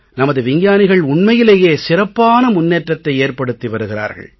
நமது விஞ்ஞானிகள் உண்மையிலேயே சிறப்பான முன்னேற்றத்தை ஏற்படுத்தி வருகிறார்கள்